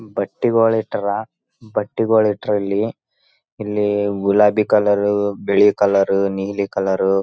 ಬಟ್ಟಿ ಒಳಾಗಿಟ್ಟಾರ ಬಟ್ಟಿ ಒಳಗಿಟ್ಟ್ರೆ ಇಲ್ಲಿ ಇಲ್ಲಿ ಗುಲಾಬಿ ಕಲರ್ ಬಿಳಿ ಕಲರ್ ನೀಲಿ ಕಲರ್ --